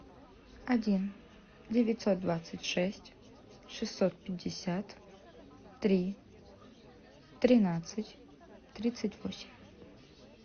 один девятьсот двадцать шесть шестьсот пятьдесят три тринадцать тридцать восемь